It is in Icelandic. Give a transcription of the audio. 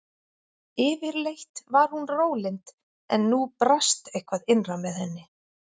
Yfirleitt var hún rólynd en nú brast eitthvað innra með henni.